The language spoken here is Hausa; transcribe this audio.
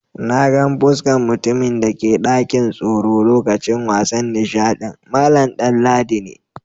Na gan fuskan mutumin da ke dakin tsoro lokacin wasan nishadin, Mallam Danladi ne.